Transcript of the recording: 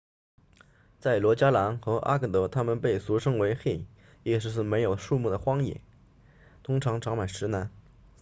在罗加兰和阿格德它们被俗称为 hei 意思是没有树木的荒野通常长满石南